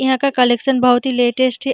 यहाँ का कलेक्शन बहुत ही लेटेस्ट है।